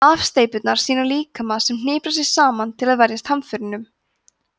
afsteypurnar sýna líkama sem hniprar sig saman til að verjast hamförunum